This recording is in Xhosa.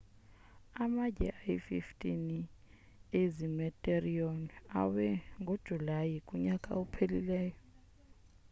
amatye ayi-15 ezi meteorite awe ngojulayi kunyaka ophelileyo